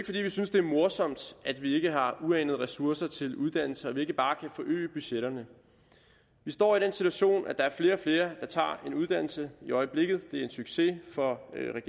fordi vi synes det er morsomt at vi ikke har uanede ressourcer til uddannelse og at vi ikke bare kan forøge budgetterne vi står i den situation at der er flere og flere der tager en uddannelse i øjeblikket det er en succes for